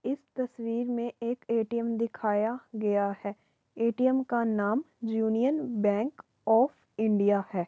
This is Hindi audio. इस तस्वीर में एक ए.टी.एम. दिखाया गया है। ए.टी.एम. का नाम यूनियन बैंक ऑफ़ इंडिया है।